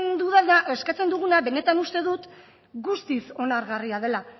eskatzen duguna benetan uste dut guztiz onargarria dela